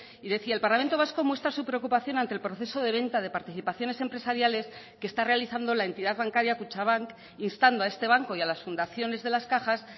y decía el parlamento vasco muestra su preocupación ante el proceso de venta de participaciones empresariales que está realizando la entidad bancaria kutxabank instando a este banco y a las fundaciones de las cajas